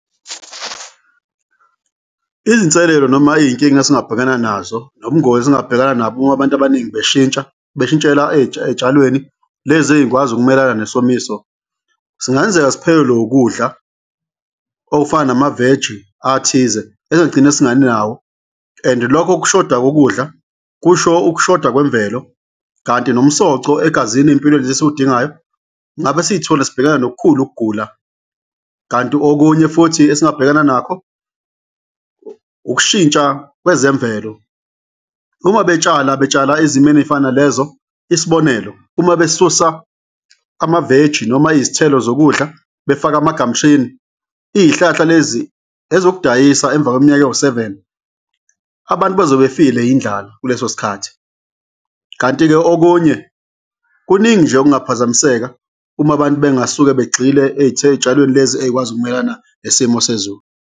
Izinselelo noma iy'nkinga esingabhekana nazo nobungozi esingabhekana nabo uma abantu abaningi beshintsha, beshintshela ey'tshalweni lezi ey'kwazi ukumelana nesomiso, singenzeka siphelelwe ukudla okufana namaveji athize ezogcine singabi nawo and-e lokho kushoda kokudla kusho ukushoda kwemvelo kanti nomsoco egazini empilweni esiwudingayo. Ngabe siyithola sibhekane nokukhulu ukugula kanti okunye futhi esingabhekana nakho ukushintsha kwezemvelo, uma betshala betshala ezimeni ey'fana nalezo, isibonelo uma besusa amaveji noma izithelo zokudla befaka ama-gum tree-ni iy'hlahla lezi ezokudayisa emva kweminyaka ewu-seven, abantu bazobe befile indlala kuleso sikhathi. Kanti-ke okunye, kuningi nje okungaphazamiseka uma abantu bengasuka begxile ey'tshalweni lezi ey'kwazi ukumelana nesimo sezulu.